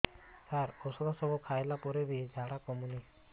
ସାର ଔଷଧ ସବୁ ଖାଇଲା ପରେ ବି ଝାଡା କମୁନି